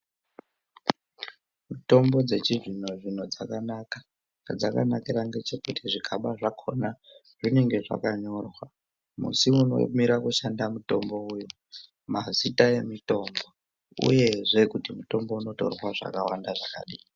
Mitombo dzechizvino-zvino dzakanaka. Zvadzakanakira ngechekuti zvikaba zvakona zvinenge zvakanyorwa musi unomira kushanda mutombo uyu, mazita emitombo uyezve kuti mutombo unotorwa zvakawanda zvakadini.